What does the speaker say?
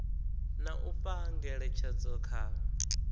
na u fha ngeletshedzo kha